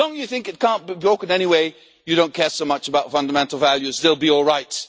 As long as you think it cannot be broken anyway, you do not care so much about fundamental values they will be all right.